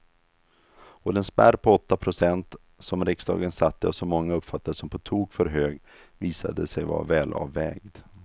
Och den spärr på åtta procent som riksdagen satte och som många uppfattade som på tok för hög visade sig vara välavvägd.